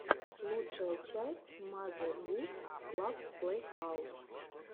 лучшая часть мазе гус клаб плейхаус